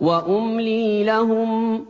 وَأُمْلِي لَهُمْ ۚ